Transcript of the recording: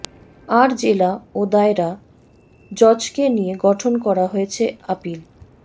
আর জেলা ও দায়রা জজকে নিয়ে গঠন করা হয়েছে আপিল